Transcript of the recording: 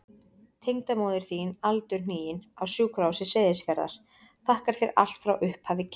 Tengdamóðir þín aldurhnigin, á Sjúkrahúsi Seyðisfjarðar, þakkar þér allt frá upphafi kynna.